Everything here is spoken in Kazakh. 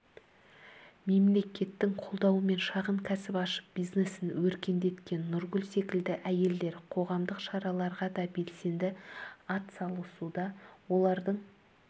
мемлекеттің қолдауымен шағын кәсіп ашып бизнесін өркендеткен нұргүл секілді әйелдер қоғамдық шараларға да белсенді атсалысуда олардың